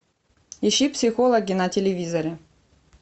ищи психологи на телевизоре